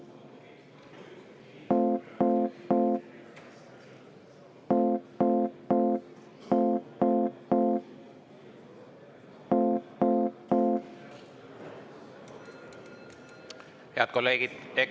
Head kolleegid!